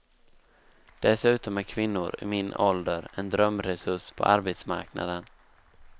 Dessutom är kvinnor i min ålder en drömresurs på arbetsmarknaden.